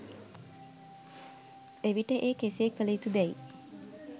එවිට ඒ කෙසේ කළ යුතු දැයි